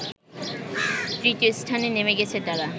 তৃতীয় স্থানে নেমে গেছে তারা